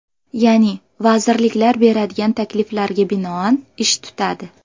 Ya’ni vazirliklar beradigan takliflarga binoan ish tutadi.